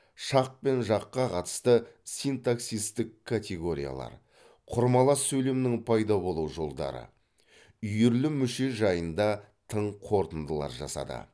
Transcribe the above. шақ пен жаққа қатысты синтаксистік категориялар құрмалас сөйлемнің пайда болу жолдары үйірлі мүше жайында тың қорытындылар жасады